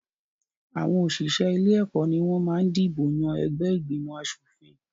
Àwọn òṣìṣẹ́ ilé-ẹ̀kọ́ ni wọ́n máa ń dìbò yàn ẹgbẹ́ ìgbòmọ̀-aṣòfin.